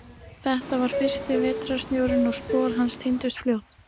Þetta var fyrsti vetrarsnjórinn og spor hans týndust fljótt.